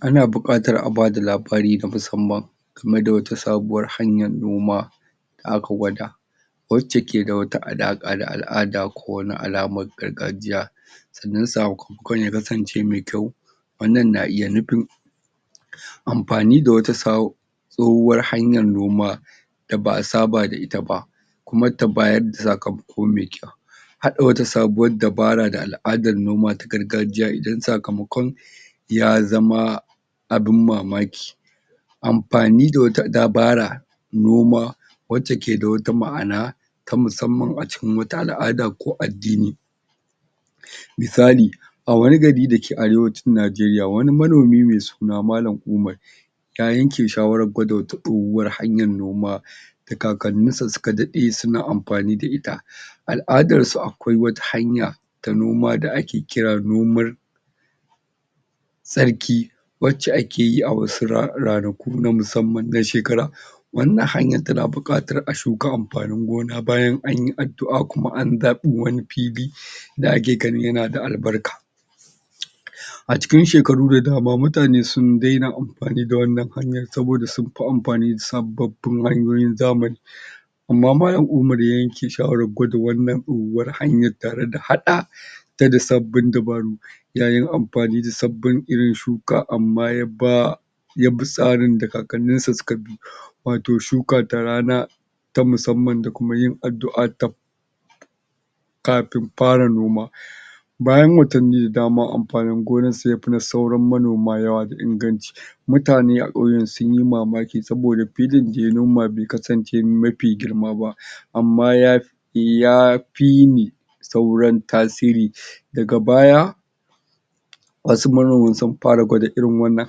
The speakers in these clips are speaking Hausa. Ana bukatar a bada labari na musamman game da wata sabuwar hanyar noma da aka gwada wace keda wata alaka da al'ada ko wata alama ta gargajiya sannan sakamakon ya kasance mai kyau wannan na iya nufin amfani da wata tsohuwar hanyar noma da ba'a saba da ita ba kuma ta bada sakamako mai kyau hada wata sabuwar dabara da al'adar noma ta gargajiya idan sakamakon ya zama abun mamaki amfani da wata dabarar noma wadda ke da wata ma'ana ta musamman a cikin wata al'ada ko addini misali a wani gari dake arewacin nigeria, wani manomi mai suna malam ummar ya yanke shawarar kwada wata tsohuwar hanyar noma da kakannin shi suka dade suna amfani da ita al'adar akwai wata hanya ta noma da ake kira noman tsarki wace akeyi a wasu ranaku na musamman na shekara wannan hanyar tana bukatar a shuka amfanin gona bayan anyi addua kuma an zabo wani fili da ake ganin yana da albarka a cikin shekaru da dama mutane sun dena amfani da wannan hanyar saboda amfi amfani da sababbin hanyoyin zamani amma malam umar ya ayanke shawarar kwada wannan tsohuwar hanyar tare da hada ta da sabbin dabaru yayi amfani da sabbin irin shuka amma yabi tsarin da kakannin shi suka bi wato shuka ta rana ta musamman da kuma yin adu'a kafin fara noma bayan watanni da dama amfanin gonar sa yafi na sauran manoma yawa da inganci mutane a kauyen sunyi mamaki saboda filin daya noma bai kasance mafi girma ba amma ya fiyin sauran tasiri daga baya wasu manoman sun fara kwada irin wannan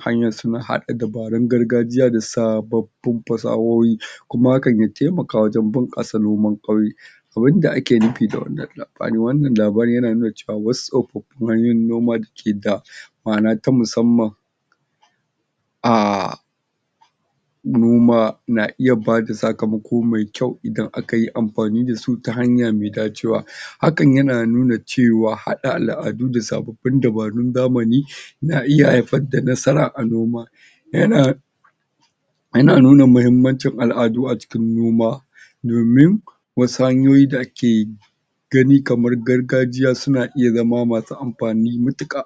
hanyar suna hada dabarun gargajiya da sabbabin fasahohi kuma hakan ya taimaka wajen bunkasa noman kauyen abinda ake nufi da wannan labarin, wannan labarin yana nuna cewa wasu tsofaffin hanyoyin noma da keda ama'ana ta musamman a noma na iya bada sakamako mai kyau idan akayi amfani dasu ta hanya mai dacewa, hakan na nuna cewa hada al'adu da sabbabin dabaru na zamani na iya haifar da nasara a noma yana nuna mahimmancin al'adu a cikin noma domin wasu hanyoyi da ake gani kamar gargajiya na iya zama masu amfani matuka